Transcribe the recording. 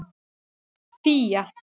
Fía